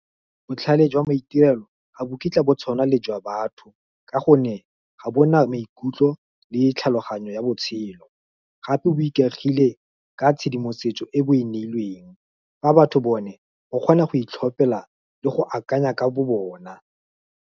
Botlhale jwa maitirelo ga bo kitla bo tshwana le jwa batho, ka gonne ga bona maikutlo le tlhaloganyo ya botshelo. Gape bo ikaegile ka tshedimosetso e bo e neilweng, fa batho bone o kgona go itlhopela le go akanya ka bo bona.